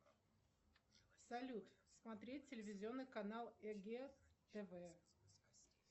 салют смотреть телевизионный канал эге тв